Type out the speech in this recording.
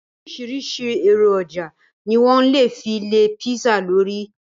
Oríṣìíríṣìí èròjà ni wọ́n lè fi lé písà lórí.